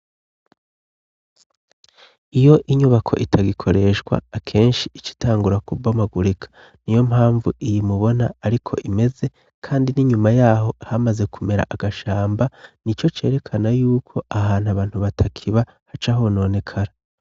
Iyo inyubako itagikoreshwa akenshi icitangura kubomagurika ni yo mpamvu iyi mubona, ariko imeze, kandi n'inyuma yaho hamaze kumera agashamba ni co cerekana yuko ahantu abantu batakiba haca hononekara.